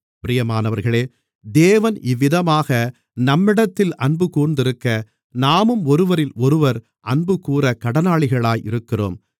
பிரியமானவர்களே தேவன் இவ்விதமாக நம்மிடத்தில் அன்புகூர்ந்திருக்க நாமும் ஒருவரிலொருவர் அன்புகூரக் கடனாளிகளாக இருக்கிறோம்